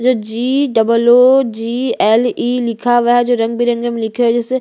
जो G double O G L E लिखा हुआ है जो रंग-बिरंगे में लिखा हुआ है जैसे --